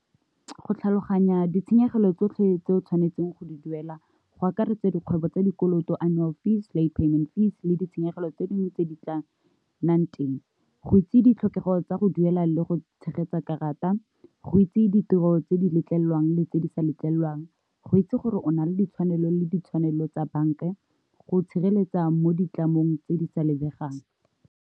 Go tlhaloganya ditshenyegelo tsotlhe tse o tshwanetseng go di duela, go akaretsa dikgwebo tsa dikoloto Annual fee le payment fee, le ditshenyegelo tse dingwe tse di tla nnang teng, go itse ditlhokego tsa go duela a le go tshegetsa karata, go itse ditiro tse di letlelelwang le tse di sa letlelelwang, go itse gore o na le ditshwanelo le ditshwanelo tsa banka, go itshireletsa mo ditlamong tse di sa lebegang.